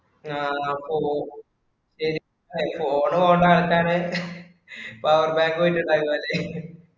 ആഹ് ശരി pho~phone വേണ്ട ആൾക്കാര് power bank ഉവായിട്ടു